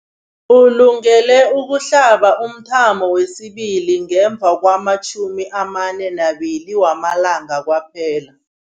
Ulungele ukuhlaba umthamo wesibili ngemva kwama-42 wamalanga kwaphela.